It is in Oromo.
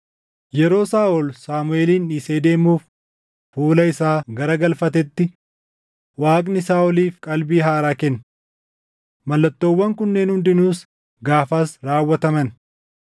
Yeroo Saaʼol Saamuʼeelin dhiisee deemuuf fuula isaa garagalfatetti, Waaqni Saaʼoliif qalbii haaraa kenne. Mallattoowwan kunneen hundinuus gaafas raawwataman.